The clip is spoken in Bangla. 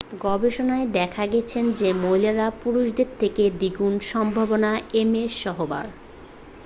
গবেষণায় দেখা গেছে যে মহিলারা পুরুষদের থেকে দ্বিগুণ সম্ভাবনা এমএসহবার